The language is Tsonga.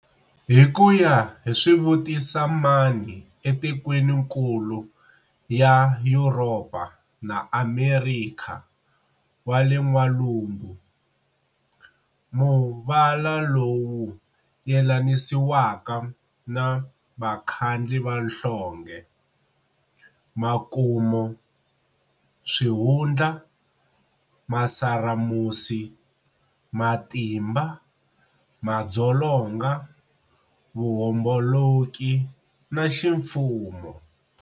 Hikuya hi swivutisa mani e matikweninkulu ya Yuropa na Amerikha wa le N'walungu, muvala lowu yelanisiwaka na vakhandli va nhlonge, Makumo, Swihundla, Masaramusi, Matimba, Madzolonga, Vuhomboloki, na Ximfumo.